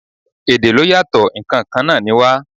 Èdè ló yàtò, ǹ kan kan náà ni wá.